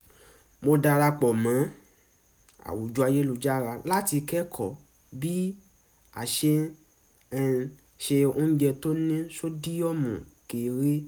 mo darapọ̀ mọ́ àwùjọ ayélujára láti kẹ́kọ̀ọ́ bí a ṣe ń ṣe oúnjẹ tó ní sódíọ̀mù kéré